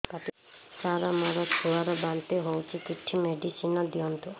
ସାର ମୋର ଛୁଆ ର ବାନ୍ତି ହଉଚି କିଛି ମେଡିସିନ ଦିଅନ୍ତୁ